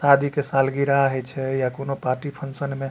शादी के साल गिरा हेय छै या कोनो पार्टी फंक्शन में --